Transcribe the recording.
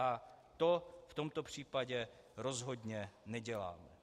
A to v tomto případě rozhodně neděláme.